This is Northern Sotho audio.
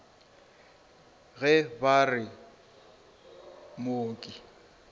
ge ba re o mooki